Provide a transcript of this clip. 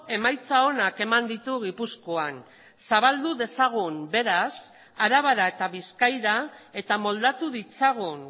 emaitza onak eman ditu gipuzkoan zabaldu dezagun beraz arabara eta bizkaira eta moldatu ditzagun